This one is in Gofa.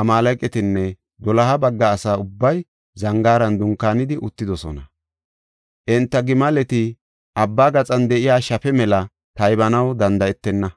Amaaleqatinne doloha bagga asa ubbay zangaaran dunkaanidi uttidosona. Enta gimaleti abba gaxan de7iya shafe mela taybanaw danda7etenna.